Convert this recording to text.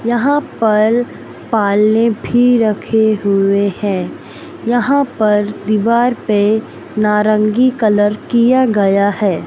यहां पर पालने भी रखे हुए हैं यहां पर दीवार पे नारंगी कलर किया गया है।